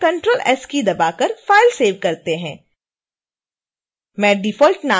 आइए अब ctrl + s keys दबाकर फाइल सेव करते हैं